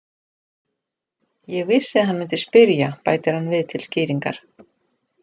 Ég vissi að hann myndi spyrja, bætir hann við til skýringar.